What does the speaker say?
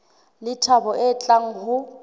le thabo e tlang le